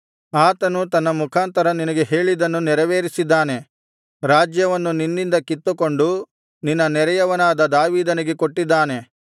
ಆತನು ನನ್ನ ಮುಖಾಂತರ ನಿನಗೆ ಹೇಳಿದ್ದನ್ನು ನೆರವೇರಿಸಿದ್ದಾನೆ ರಾಜ್ಯವನ್ನು ನಿನ್ನಿಂದ ಕಿತ್ತುಕೊಂಡು ನಿನ್ನ ನೆರೆಯವನಾದ ದಾವೀದನಿಗೆ ಕೊಟ್ಟಿದ್ದಾನೆ